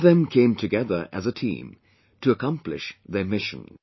All of them came together as a team to accomplish their mission